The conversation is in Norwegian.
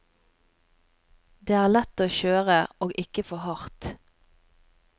Det er lett å kjøre, og ikke for hardt.